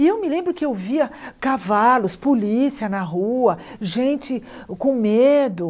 E eu me lembro que eu via cavalos, polícia na rua, gente com medo.